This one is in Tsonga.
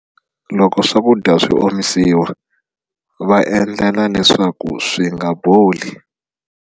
Loko swakudya swi omisiwa va endlela leswaku swi nga boli.